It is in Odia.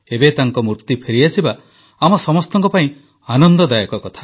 ଏବେ ତାଙ୍କ ମୂର୍ତ୍ତି ଫେରିଆସିବା ଆମ ସମସ୍ତଙ୍କ ପାଇଁ ଆନନ୍ଦଦାୟକ କଥା